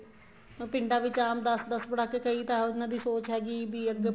ਪਿੰਡਾਂ ਵਿੱਚ ਆਮ ਦਸ ਦਸ ਪੜਾਕੇ ਕਈ ਤਾਂ ਉਹਨਾ ਦੀ ਸੋਚ ਹੈਗੀ ਵੀ ਅੱਗੇ